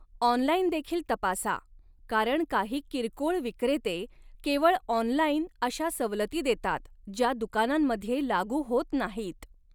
ऑनलाइनदेखील तपासा, कारण काही किरकोळ विक्रेते केवळ ऑनलाइन अशा सवलती देतात, ज्या दुकानांमध्ये लागू होत नाहीत.